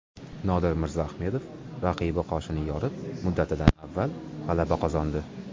Nodir Mirzaahmedov raqibi qoshini yorib, muddatidan avval g‘alaba qozondi.